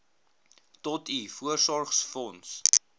tot u voorsorgsfonds